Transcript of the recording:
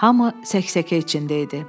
Hamı sək-səkə içində idi.